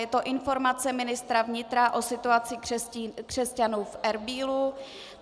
Je to Informace ministra vnitra o situaci křesťanů v Erbílu.